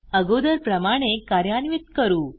अगोदर प्रमाणे कार्यान्वित करू